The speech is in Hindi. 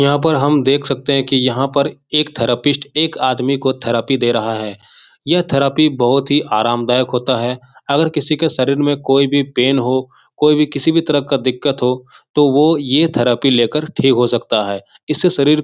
यहाँ पर हम देख सकते हैं की यहाँ पर एक थेरेपिस्ट एक आदमी को थेरेपी दे रहा है यह थेरेपी बहोत ही आरामदायक होता है अगर किसी के शरीर में कोई भी पेन हो कोई भी किसी भी तरह का दिक्कत हो तो वो ये थेरेपी लेकर ठीक हो सकता है इससे शरीर --